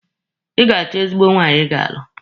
Ị ga-acho ezigbo nwaanyị Ị ga-alụ.